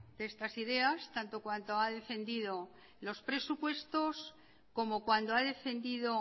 de estas ideas tanto cuando ha defendido los presupuestos como cuando ha defendido